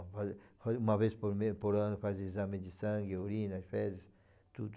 Uma vez por me por ano faz exame de sangue, urina, fezes, tudo.